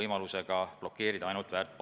Hea juhataja!